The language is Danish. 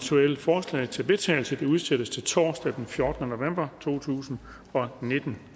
forslag til vedtagelse udsættes til torsdag den fjortende november to tusind og nitten